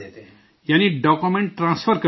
یعنی document transfer کرتے ہیں